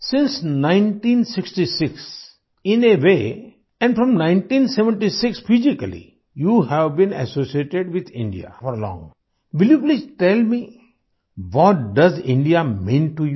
since 1966 in a way and from 1976 physically you have been associated with India for long will you please tell me what does India mean to you